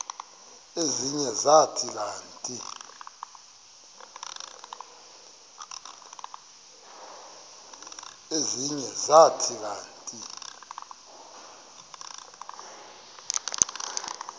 ezinye zathi kanti